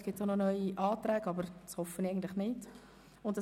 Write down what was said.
Vielleicht werden noch neue Anträge gestellt, was ich nicht hoffe.